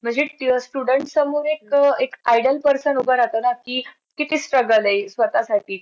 बघू आता संध्याकाळी काय होतं ते .